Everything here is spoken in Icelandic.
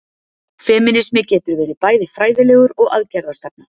Femínismi getur verið bæði fræðilegur og aðgerðastefna.